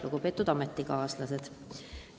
Lugupeetud ametikaaslased!